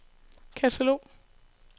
katalog